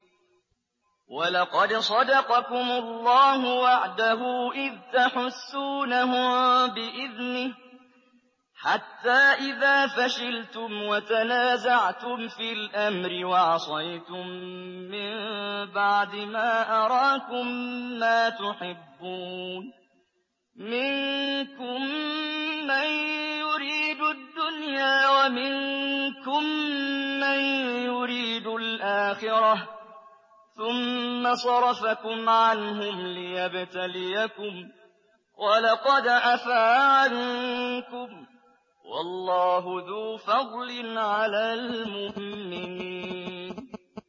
وَلَقَدْ صَدَقَكُمُ اللَّهُ وَعْدَهُ إِذْ تَحُسُّونَهُم بِإِذْنِهِ ۖ حَتَّىٰ إِذَا فَشِلْتُمْ وَتَنَازَعْتُمْ فِي الْأَمْرِ وَعَصَيْتُم مِّن بَعْدِ مَا أَرَاكُم مَّا تُحِبُّونَ ۚ مِنكُم مَّن يُرِيدُ الدُّنْيَا وَمِنكُم مَّن يُرِيدُ الْآخِرَةَ ۚ ثُمَّ صَرَفَكُمْ عَنْهُمْ لِيَبْتَلِيَكُمْ ۖ وَلَقَدْ عَفَا عَنكُمْ ۗ وَاللَّهُ ذُو فَضْلٍ عَلَى الْمُؤْمِنِينَ